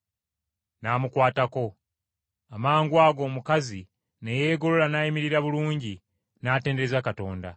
N’amukwatako. Amangwago omukazi ne yeegolola n’ayimirira bulungi, n’atendereza Katonda!